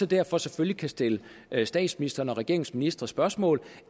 derfor selvfølgelig kan stille statsministeren og regeringens ministre spørgsmål